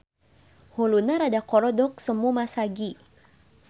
Huluna rada korodok semu masagi.